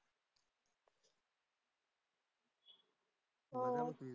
हो.